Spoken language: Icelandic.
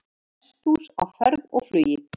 Hesthús á ferð og flugi